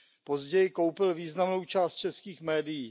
Později koupil významnou část českých médií.